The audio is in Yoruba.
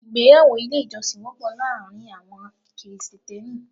Ìgbéyàwó ilé ìjọsìn wọ́pọ̀ láàárín àwọn Krìsìtẹ́nì.